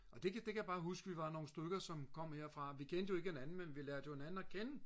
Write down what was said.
og det kan jeg bare huske vi var nogle stykker som kom herfra. Vi kendte jo ikke hinanden men vi lærte hinanden at kende